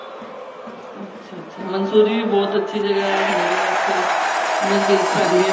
ਅੱਛਾ ਅੱਛਾ ਮੰਸੂਰੀ ਵੀ ਬਹੁਤ ਅੱਛੀ ਜਗ੍ਹਾ ਨੇੜੇ ਆ ਉੱਥੇ ਨਜਦੀਕ ਪੈਂਦੀ